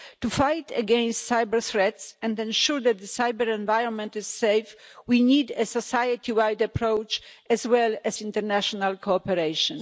To fight against cyber-threats and ensure that the cyber-environment is safe we need a society-wide approach as well as international cooperation.